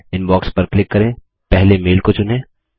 inbox पर click करें पहले मेल को चुनें